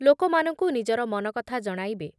ଲୋକମାନଙ୍କୁ ନିଜର ମନକଥା ଜଣାଇବେ